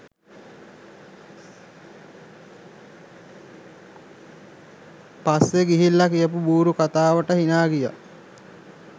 පස්සෙ ගිහිල්ල කියපු බූරු කතාවට හිනා ගියා.